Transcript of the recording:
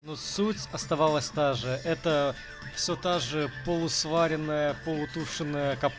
но суть оставалась та же это все та же полусваренная полутушенная кап